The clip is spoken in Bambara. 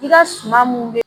I ka suma mun bɛ